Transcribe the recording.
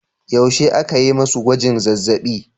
Yaushe aka yi masu gwajin zazzabi?